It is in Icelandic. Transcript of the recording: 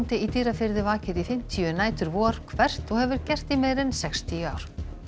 í Dýrafirði vakir í fimmtíu nætur vor hvert og hefur gert í meira en sextíu ár